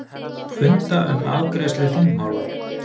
Funda um afgreiðslu þingmála